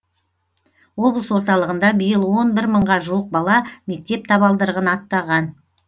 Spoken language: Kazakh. облыс орталығында биыл он бір мыңға жуық бала мектеп табалдырығын аттаған